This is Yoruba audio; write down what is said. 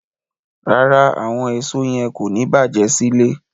Rárá, àwọn èso yẹn kò ní bàjé sílé.